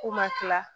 Ko ma kila